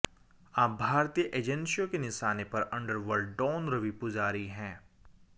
अब भारतीय एजेंसियों के निशाने पर अंडरवर्ल्ड डॉन रवि पुजारी है